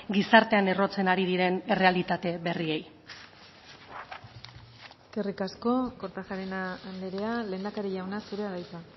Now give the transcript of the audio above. gizartean errotzen ari diren errealitate berriei eskerrik asko kortajarena andrea lehendakari jauna zurea da hitza